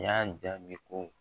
I yan jaabi ko